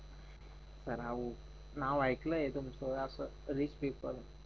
राव नाव ऐकलं तुमचं असं रिच पीपल